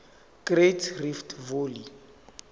great rift valley